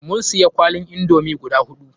Mun siya kwalin indomi guda huɗu.